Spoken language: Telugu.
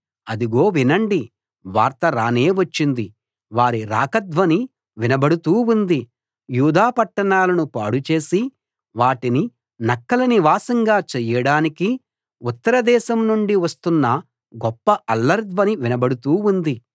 అదిగో వినండి వార్త రానే వచ్చింది వారి రాక ధ్వని వినబడుతూ ఉంది యూదా పట్టణాలను పాడు చేసి వాటిని నక్కల నివాసంగా చేయడానికి ఉత్తరదేశం నుండి వస్తున్న గొప్ప అల్లరి ధ్వని వినబడుతూ ఉంది